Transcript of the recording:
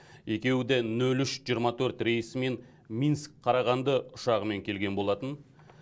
екеуі де нөл үш жиырма төрт рейсімен минск қарағанды ұшағымен келген болатын